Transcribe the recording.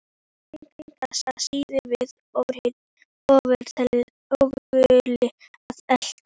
Það væri engu að síður við ofurefli að etja.